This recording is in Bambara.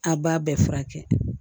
A b'a bɛɛ furakɛ